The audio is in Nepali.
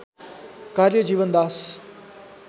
कार्य जीवनदास